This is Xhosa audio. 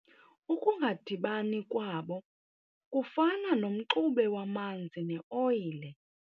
Ukungadibani kwabo kufana nomxube wamanzi neoyile.